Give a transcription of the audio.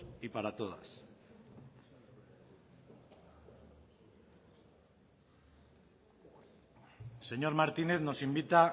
y para todas el señor martínez nos invita